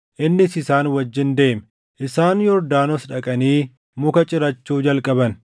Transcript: Innis isaan wajjin deeme. Isaan Yordaanos dhaqanii muka cirachuu jalqaban.